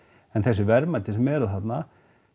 en þessi verðmæti sem eru þarna